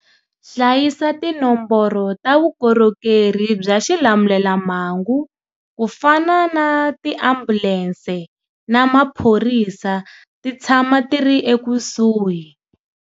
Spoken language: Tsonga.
Hlayisa tinomboro ta vukorhokeri bya xilamulelamhangu ku fana na tiambulense na maphorisa ti tshama ti ri ekusuhi.